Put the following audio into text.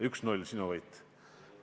1 : 0, sinu võit!